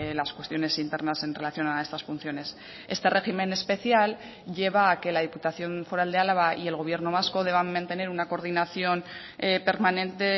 las cuestiones internas en relación a estas funciones este régimen especial lleva a que la diputación foral de álava y el gobierno vasco deban mantener una coordinación permanente